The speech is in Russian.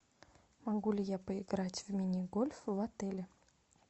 могу ли я поиграть в мини гольф в отеле